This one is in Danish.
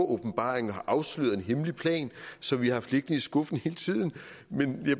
åbenbaring og har afsløret en hemmelig plan som vi har haft liggende i skuffen hele tiden